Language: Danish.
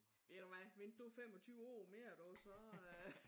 Ved du hvad? Vent du 25 år mere du så